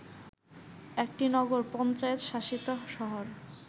একটি নগর পঞ্চায়েত শাসিত শহর